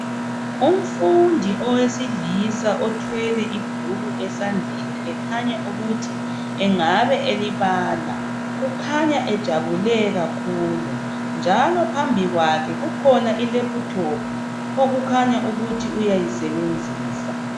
Umfundi owesilisa othwele ibhuku esandleni ekhanya ukuthi engabe elibala, ukhanya ejabule kakhulu njalo phambi kwakhe kukhona ilephuthophu okukhanya ukuthi uyayisebenzisa.